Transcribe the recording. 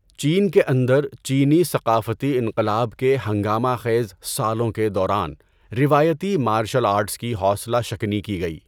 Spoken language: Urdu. چین کے اندر، چینی ثقافتی انقلاب کے ہنگامہ خیز سالوں کے دوران روایتی مارشل آرٹس کی حوصلہ شکنی کی گئی۔